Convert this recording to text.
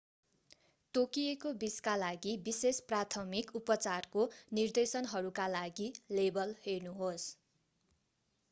तोकिएको विषका लागि विशेष प्राथमिक उपचारको निर्देशनहरूका लागि लेबल हेर्नुहोस्‌।